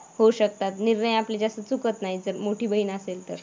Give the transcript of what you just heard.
होऊ शकतात. निर्णय आपले जास्त चुकत नाहीत. नाहीतर मोठी बहीण असेल तर.